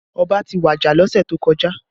Ọba ti waja lọ́sẹ̀ tó kọjá